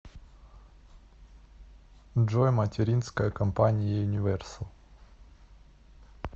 джой материнская компания юниверсал